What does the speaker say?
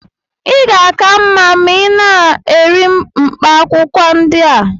ị ga-aka mma ma ị na-eri mkpaakwụkwọ ndị a